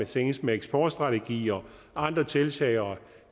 senest med eksportstrategi og andre tiltag er